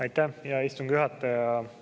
Aitäh, hea istungi juhataja!